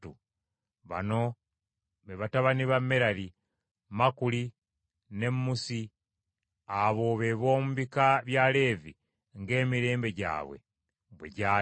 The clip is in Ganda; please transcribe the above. Bano be batabani ba Merali: Makuli ne Musi. Abo be b’omu bika bya Leevi ng’emirembe gyabwe bwe gyali.